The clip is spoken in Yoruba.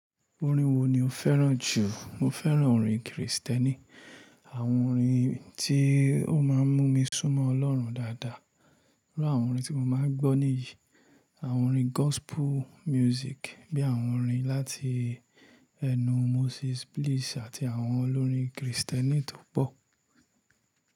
Orin wo ni o fẹ́ràn jù? Mo fẹ́ràn orin kìrìsìtẹ́nì, àwọn orin tí ó máà ń mú mi súnmọ́ ọlọ́run dáadáa. Irú àwọn orin tí mo máa ń gbọ́ nìyí, àwọn orin gospel music bíi àwọn orin láti ẹnu Moses Bliss àti àwọn olórin kìrìsìtẹ́nì tó pọ̀.